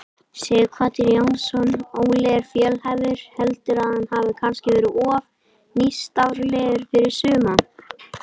Sighvatur Jónsson: Óli er fjölhæfur, heldurðu að hann hafi kannski verið of nýstárlegur fyrir suma?